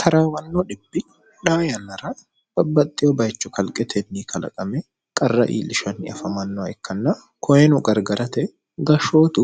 taraawanno dhibbi dhaa yannara babbaxxeyo bayicho kalqetenni kalaqame qarra iilishanni afamannoha ikkanna koyino gargarate gashshootu